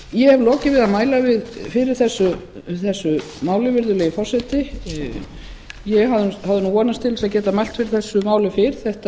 ég hef lokið við að mæla fyrir þessu máli virðulegi forseti ég hafði nú vonast til þess að geta mælt fyrir þessu máli fyrr þetta